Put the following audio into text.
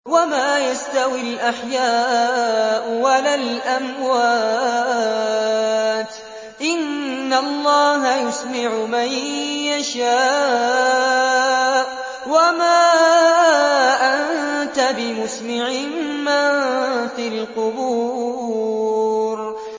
وَمَا يَسْتَوِي الْأَحْيَاءُ وَلَا الْأَمْوَاتُ ۚ إِنَّ اللَّهَ يُسْمِعُ مَن يَشَاءُ ۖ وَمَا أَنتَ بِمُسْمِعٍ مَّن فِي الْقُبُورِ